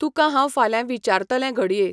तुका हांव ऴाल्यां विचारतलें घडये.